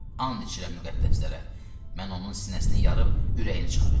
And içirəm müqəddəslərə, mən onun sinəsini yarıb ürəyini çıxaracam.